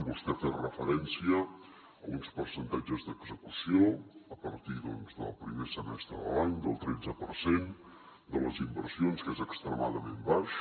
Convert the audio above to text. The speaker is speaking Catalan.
vostè ha fet referència a uns percentatges d’execució a partir doncs del primer semestre de l’any del tretze per cent de les inversions que és extremadament baix